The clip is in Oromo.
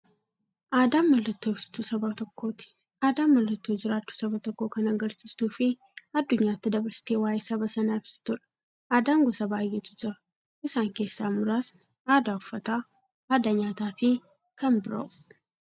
Aadaan mallattoo ibsituu saba tokkooti. Aadaan mallattoo jiraachuu saba tokkoo kan agarsiistufi addunyyaatti dabarsitee waa'ee saba sanaa ibsituudha. Aadaan gosa baay'eetu jira. Isaan keessaa muraasni aadaa, uffannaa aadaa nyaataafi kan biroo.